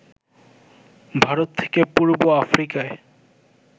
ভারত থেকে পূর্ব আফ্রিকায়